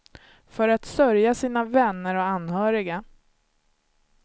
För att sörja sina vänner och anhöriga.